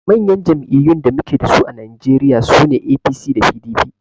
Manyan jam'iyyun da muke dasu a Najeriya sune APC da PDP